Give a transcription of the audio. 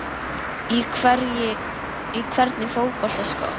Í hvernig fótboltaskóm?